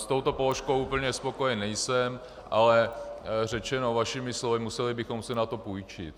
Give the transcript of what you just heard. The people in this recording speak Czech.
S touto položkou úplně spokojen nejsem, ale řečeno vašimi slovy, museli bychom si na to půjčit.